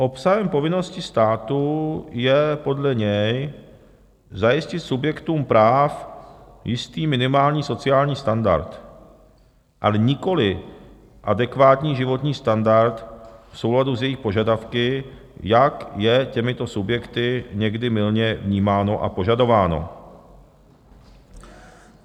Obsahem povinnosti státu je podle něj zajistit subjektům práv jistý minimální sociální standard, ale nikoli adekvátní životní standard v souladu s jejich požadavky, jak je těmito subjekty někdy mylně vnímáno a požadováno.